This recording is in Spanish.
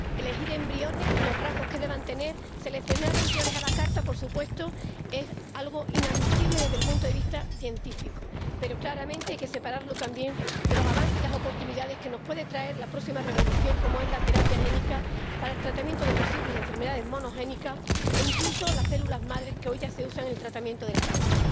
Elegir embriones, los rasgos que deban tener, seleccionar embriones a la carta, por supuesto, es algo inadmisible desde el punto de vista científico, pero claramente hay que separarlo también de los avances y las oportunidades que nos puede traer la próxima revolución, como es la terapia génica, para el tratamiento de posibles enfermedades monogénicas, o incluso las células madre, que hoy ya se usan en el tratamiento del cáncer.